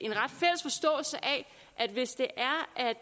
at hvis det